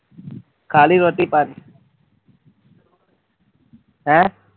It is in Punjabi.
ਖਾਲੀ ਰੋਟੀ ਪਾਣੀ ਹੈਂ?